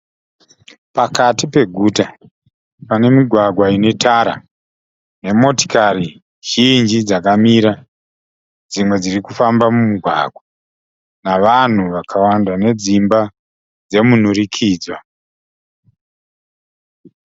Pakati peguta pane migwagwa ine tara nemotikari zhinji dzakamira. Dzimwe dzirikufamba mumugwagwa. Navanhu vakawanda , nedzimba dzemunhurikidzwa.